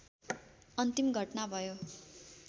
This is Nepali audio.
अन्तिम घटना भयो